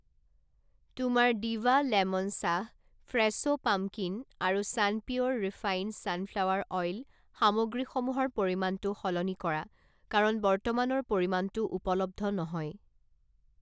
তোমাৰ Diva lemon চাহ, Fresho pumpkin আৰু ছানপিউৰ ৰিফাইণ্ড ছানফ্লাৱাৰ অইল সামগ্ৰীসমূহৰ পৰিমাণটো সলনি কৰা কাৰণ বৰ্তমানৰ পৰিমাণটো উপলব্ধ নহয়।